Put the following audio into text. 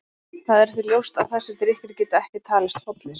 Það er því ljóst að þessir drykkir geta ekki talist hollir.